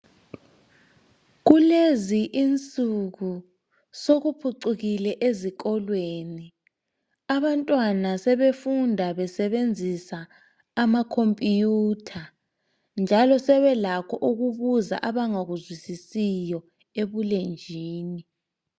Kulezi insuku sokuphucukile ezikolweni. Abantwana sebefunda besebenzisa amakhompuyutha njalo sebelakho ukubuza abangakuzwisisiyo ebulenjini.